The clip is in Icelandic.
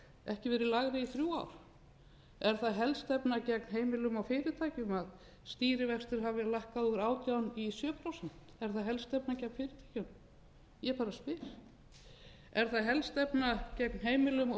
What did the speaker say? ekki verið lægri í þrjú ár er það helstefna gegn heimilum og fyrirtækjum að stýrivextir hafi verið lækkaðir úr átján í sjö prósent er það helstefna gegn xxxxstjórn ég bara spyr er það helstefna gegn heimilum og